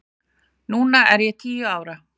Núna er ég tíu ára.